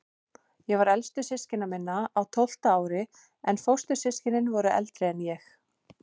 Ég var elstur systkina minna, á tólfta ári, en fóstur- systkinin voru eldri en ég.